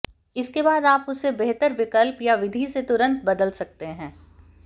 इसके बाद आप इसे बेहतर विकल्प या विधि से तुरंत बदल सकते हैं